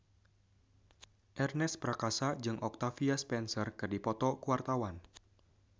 Ernest Prakasa jeung Octavia Spencer keur dipoto ku wartawan